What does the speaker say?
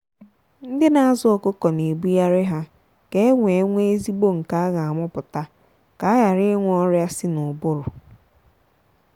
ndị na azụ ọkụkọ na ebughari ha ka enwe nwe ezigbo nke a gha amụputa ka aghara ịnwe ọrịa sị na ụbụrụ.